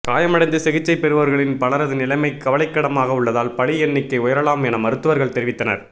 காயம் அடைந்து சிகிச்சை பெறுபவர்களில் பலரது நிலைமை கவலைக்கிடமாக உள்ளதால் பலி எண்ணிக்கை உயரலாம் என மருத்துவர்கள் தெரிவித்தனர்